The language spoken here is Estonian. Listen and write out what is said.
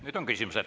Nüüd on küsimused.